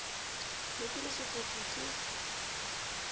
ne ke le sefofu ke